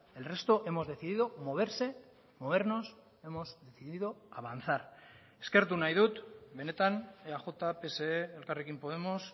el resto hemos decidido moverse movernos hemos decidido avanzar eskertu nahi dut benetan eaj pse elkarrekin podemos